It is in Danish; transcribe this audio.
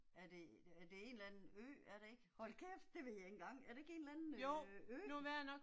Er det, det er en eller anden ø er det ikke, hold kæft det ved jeg ikke engang, er det ikke en eller anden øh ø?